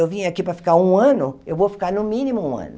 Eu vim aqui para ficar um ano, eu vou ficar no mínimo um ano.